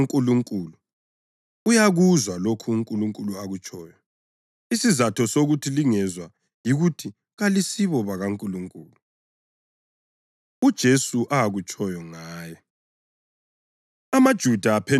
Lowo ongokaNkulunkulu uyakuzwa lokho uNkulunkulu akutshoyo. Isizatho sokuthi lingezwa yikuthi kalisibo bakaNkulunkulu.” UJesu Akutshoyo Ngaye